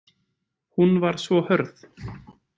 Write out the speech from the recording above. Hún var svo hörð.